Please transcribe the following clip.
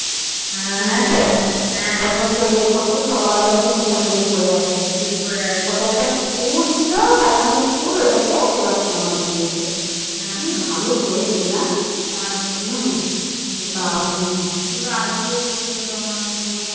কত সুন্দর আরতি হচ্ছিল তোমার গিয়ে